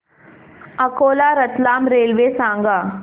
Akola Ratlam railway सांगा